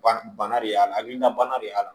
Bana bana de y'a la hakilina bana de y'a la